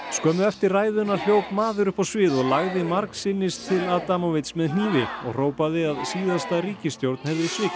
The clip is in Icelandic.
skömmu eftir ræðuna hljóp maður upp á svið og lagði margsinnis til með hnífi og hrópaði að síðasta ríkisstjórn hefði svikið